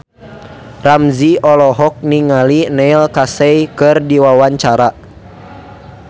Ramzy olohok ningali Neil Casey keur diwawancara